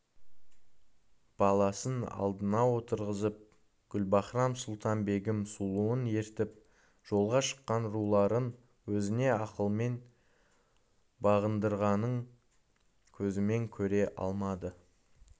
баласын алдына отырғызып гүлбаһрам-сұлтан-бегім сұлуын ертіп жолға шыққан руларын өзіне ақылмен бағындырғанын көзімен көре алмады